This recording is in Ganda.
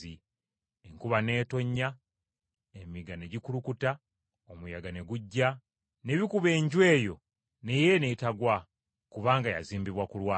Enkuba n’etonnya, emigga ne gikulukuta, omuyaga ne gujja, ne bikuba enju eyo naye n’etegwa kubanga yazimbibwa ku lwazi.